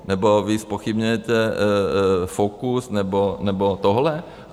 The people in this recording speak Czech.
Nebo vy zpochybňujete Focus nebo tohle?